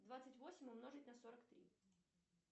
двадцать восемь умножить на сорок три